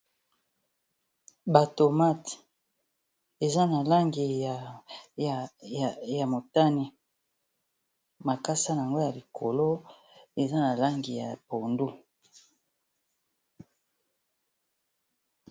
batomate eza na langi ya motani bakasa na yango ya likolo eza na langi ya pondu